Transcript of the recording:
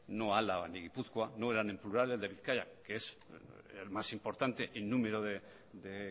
no álava o el de gipuzkoa no eran en plural el de bizkaia que es el más importante en número de